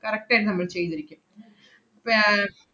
correct ആയിട്ട് നമ്മള് ചെയ്തിരിക്കും പി~ ഏർ